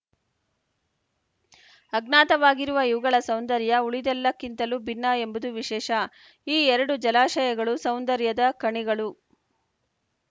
ಅಜ್ಞಾತವಾಗಿರುವ ಇವುಗಳ ಸೌಂದರ್ಯ ಉಳಿದೆಲ್ಲಕ್ಕಿಂತಲೂ ಭಿನ್ನ ಎಂಬುದು ವಿಶೇಷ ಈ ಎರಡು ಜಲಾಶಯಗಳು ಸೌಂದರ್ಯದ ಖಣಿಗಳು